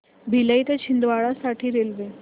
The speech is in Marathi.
भिलाई ते छिंदवाडा साठी रेल्वे